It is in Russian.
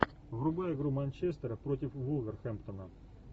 врубай игру манчестера против вулверхэмптона